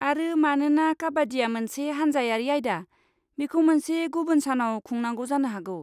आरो, मानोना काबाड्डिया मोनसे हान्जायारि आयदा, बेखौ मोनसे गुबुन सानाव खुंनांगौ जानो हागौ।